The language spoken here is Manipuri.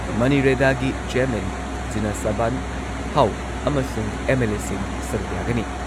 ꯃꯅꯤꯔꯦꯗꯥꯒꯤ ꯆꯦꯌꯔꯃꯦꯟ ꯖꯤꯅꯁꯕꯥꯟꯍꯥꯎ ꯑꯃꯁꯨꯡ ꯑꯦꯝ.ꯑꯦꯜ.ꯑꯦꯁꯤꯡ ꯁꯔꯨꯛ ꯌꯥꯒꯅꯤ ꯫